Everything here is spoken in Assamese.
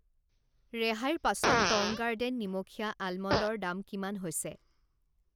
ৰেহাইৰ পাছত টং গাৰ্ডেন নিমখীয়া আলমণ্ড ৰ দাম কিমান হৈছে?